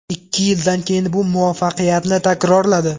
Ikki yildan keyin bu muvaffaqiyatini takrorladi.